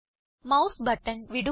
mouse button വിടുക